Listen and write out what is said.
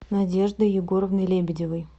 надеждой егоровной лебедевой